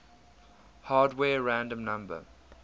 hardware random number